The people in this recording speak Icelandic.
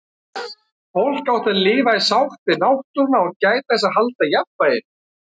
Fólk átti að lifa í sátt við náttúruna og gæta þess að halda jafnvæginu.